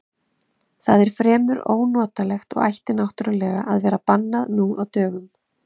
Það er fremur ónotalegt og ætti náttúrlega að vera bannað nú á dögum.